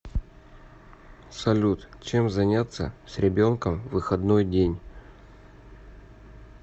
салют чем заняться с ребенком в выходной день